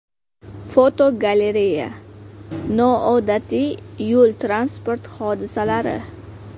Fotogalereya: Noodatiy yo‘l-transport hodisalari.